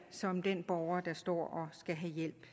som den borger der står og skal have hjælp